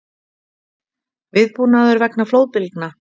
Viðbúnaður vegna flóðbylgna